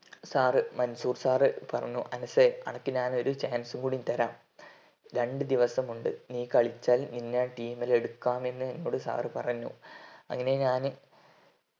sir Mansoor sir എന്നോട് പറഞ്ഞു അനസെ അനക്ക് ഞാൻ ഒരു chance കൂടെ തരാം രണ്ട് ദിവസമുണ്ട് നെ കളിച്ചാൽ ഇന്നേ ഞാൻ team ൽ എടുക്കാമെന്ന് എന്നോട് sir പറഞ്ഞു അങ്ങനെ ഞാന്